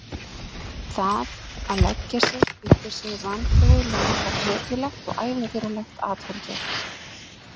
Það að leggja sig undir sig vanþróuð lönd var hetjulegt og ævintýralegt atferli.